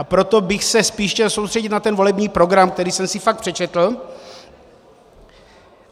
A proto bych se spíš chtěl středit na ten volební program, který jsem si fakt přečetl.